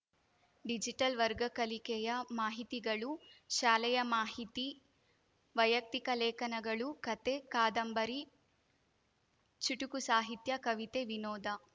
digital ವರ್ಗ ಕಲಿಕೆಯ ಮಾಹಿತಿಗಳು ಶಾಲೆಯ ಮಾಹಿತಿ ವೈಯಕ್ತಿಕ ಲೇಖನಗಳು ಕಥೆ ಕಾದಂಬರಿ ಚುಟುಕು ಸಾಹಿತ್ಯ ಕವಿತೆ ವಿನೋದ